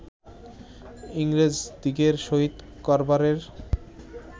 ইংরাজদিগের সহিত কারবারের